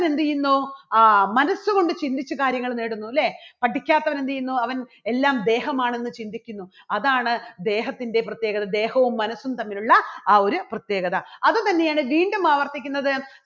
എന്ത് ചെയ്യുന്നു ആ മനസ്സുകൊണ്ട് ചിന്തിച്ച് കാര്യങ്ങൾ നേടുന്നു ഇല്ലേ പഠിക്കാത്തവൻ എന്ത് ചെയ്യുന്നു? അവൻ എല്ലാം ദേഹമാണെന്ന് ചിന്തിക്കുന്നു അതാണ് ദേഹത്തിന്റെ പ്രത്യേകത ദേഹവും മനസ്സും തമ്മിലുള്ള ആ ഒരു പ്രത്യേകത അതുതന്നെയാണ് വീണ്ടും ആവർത്തിക്കുന്നത്